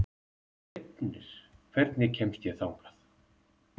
Reifnir, hvernig kemst ég þangað?